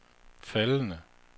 faldende